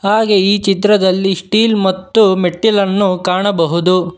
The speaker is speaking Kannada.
ಹಾಗೆ ಈ ಚಿತ್ರದಲ್ಲಿ ಸ್ಟೀಲ್ ಮತ್ತು ಮೆಟ್ಟಿಲನ್ನು ಕಾಣಬಹುದು.